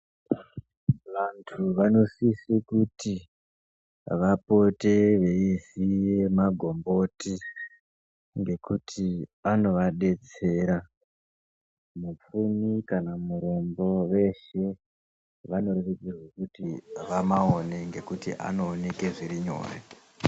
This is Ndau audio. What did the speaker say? Vantu vanosise kuti vapote veiziye magomboti ngekuti anovadetsera. Mupfumi kana murombo veshe vanorerukirwe kuti vamaone ngekuti anooneke zviri nyore.